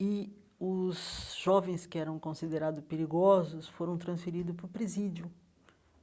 E os jovens que eram considerados perigosos foram transferidos para o presídio.